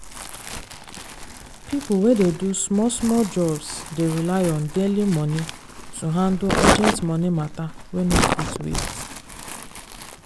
people wey dey do small-small jobs dey rely on daily money to handle urgent money matter wey no fit wait.